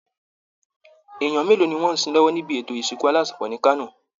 Èèyàn mélòó ni wọ́n ń sin lọ́wọ́ nibi ètò ìsìnkú alásinpọ̀ ní Kano?